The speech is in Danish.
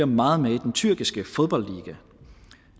meget med i den tyrkiske fodboldliga